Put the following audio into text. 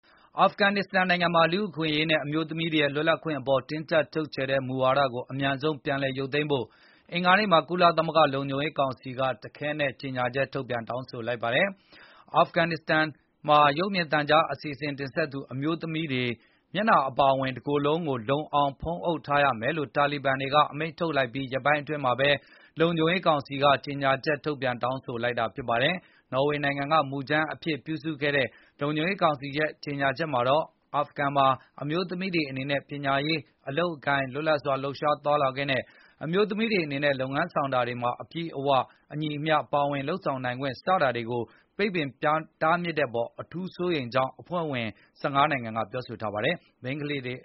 အာဖဂန်နစ္စတန်နိုင်ငံမှာ လူ့အခွင့်ရေးနဲ့ အမျိုးသမီးများရဲ့ လွတ်လပ်ခွင့် အပေါ် တင်းကြပ် ချုပ်ချယ်တဲ့မူဝါဒကို အမြန်ဆုံး ပြန်လည်ရုပ်သိမ်းဖို့ အင်္ဂါနေ့မှာ ကုလသမဂ္ဂ လုံခြုံရေးကောင်စီက တခဲနက် ကြေညာချက် ထုတ်ပြန် တောင်းဆိုလိုက်ပါတယ်။ အာဖဂန်မှာ ရုပ်မြင်သံကြား အစီအစဉ် တင်ဆက်သူအမျိုးသမီးတွေ မျက်နှာ အပါအဝင် တကိုယ် လုံးကို လုံအောင် ဖုံးအုပ်ဝတ်ဆင်ထားရမယ်လို့ တာလီဘန်တွေ အမိန့်ထုတ်လိုက်ပြီး ရက်ပိုင်းအတွင်းမှာပဲ လုံခြုံရေးကောင်စီက ကြေညာချက် ထုတ်ပြန်တောင်းဆိုလိုက်တာဖြစ်ပါတယ်။ နော်ဝေနိုင်ငံက မူကြမ်းအဖြစ် ပြုစုခဲ့တဲ့ လုံခြုံရေးကောင်စီ ကြေညာချက်မှာတော့ အာဖဂန်မှာ အမျိုးသမီးတွေ အနေနဲ့ ပညာရေး၊ အလုပ်အကိုင်၊ လွတ်လပ်စွာ လှုပ်ရှားသွားလာခွင့်နဲ့ အမျိုးသမီးတွေ အနေနဲ့ လုပ်ငန်းဆောင်တာတွေမှာ အပြည့်အဝနဲ့ အညီအမျှ ပါဝင်လုပ်ဆောင်နိုင်ခွင့် စတာတွေကို ပိတ်ပင်တားမြစ်တဲ့ အပေါ် အထူးစိုးရိမ်ကြောင်း အဖွဲ့ဝင် ၁၅ နိုင်ငံက ပြောဆိုထားကြတာပါ။ မိန်းကလေးတွေ